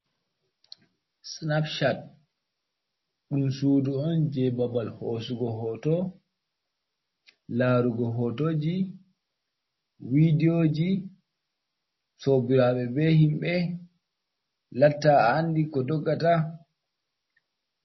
Sinapcot ɗum suudu on, jey babal hoosugo hooto, laarugo hootoji, vidiyooji, sobiraaɓe be himɓe, latta a anndi ko doggata.